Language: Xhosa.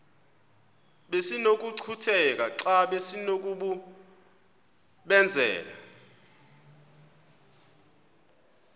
besinokucutheka xa besinokubenzela